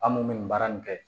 An mun bɛ nin baara nin kɛ